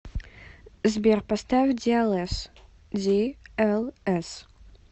сбер поставь диэлэс ди эл эс